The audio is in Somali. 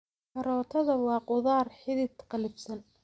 Karootada waa khudaar xidid qallafsan.